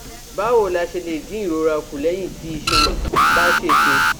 Báwo la ṣe lè dín ìrora kù lẹ́yìn tí iṣan bá ṣèṣe?